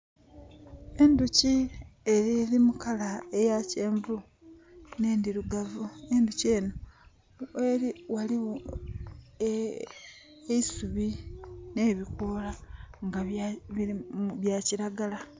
Edhuki eri mukala eyakyenvu nendhirugavu. Endhuki eno, gheri ghaligho eisubi nebikola nga bya kiragala.